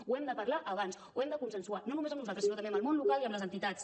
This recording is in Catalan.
ho hem de parlar abans ho hem de consensuar no només amb nosaltres sinó també amb el món local i amb les entitats